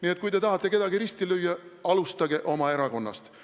Nii et kui te tahate kedagi risti lüüa, alustage oma erakonnast.